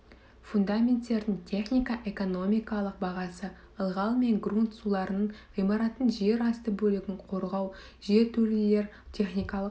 фундаменттердің технико-экономикалық бағасы ылғал мен грунт суларынан ғимараттың жер асты бөлігін қорғау жертөлелер техникалық